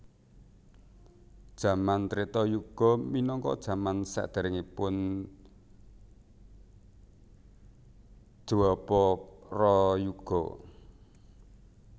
Jaman Treta yuga minangka jaman saderengipun Dwaparayuga